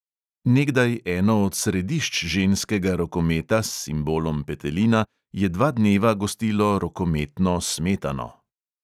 Nekdaj eno od središč ženskega rokometa s simbolom petelina je dva dneva gostilo rokometno "smetano".